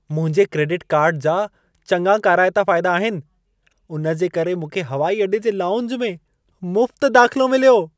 मुंहिंजे credit card जा चङा काराइता फाइदा आहिनि। उनजे करे मूंखे हवाई अॾे जे लाउंज में मुफ्त दाख़िलो मिलियो।